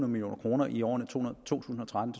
million kroner i årene to tusind og tretten